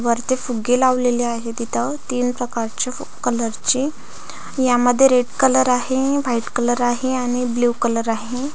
वरती फुगे लावलेलं आहेत इथ तीन प्रकारचे कलरचे यामध्ये रेड कलर आहे व्हाईट कलर आहे आणि ब्ल्यू कलर आहे.